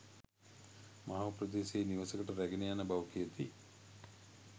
මහව ප්‍රදේශයේ නිවසකට රැගෙන යන බව කියති.